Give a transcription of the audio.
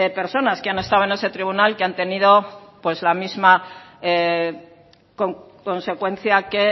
personas que han estado en ese tribunal que han tenido la misma consecuencia que